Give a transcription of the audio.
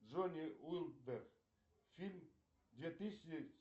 джони уинберг фильм две тысячи